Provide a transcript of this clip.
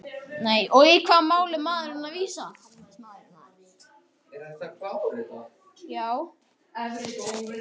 Og í hvaða mál er maðurinn að vísa?